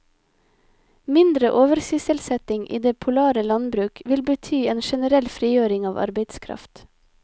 Mindre oversysselsetting i det polare landbruk, vil bety en generell frigjøring av arbeidskraft.